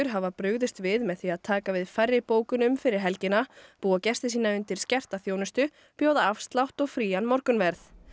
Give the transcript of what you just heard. hafa brugðist við með því að taka við færri bókunum fyrir helgina búa gesti sína undir skerta þjónustu bjóða afslátt og frían morgunverð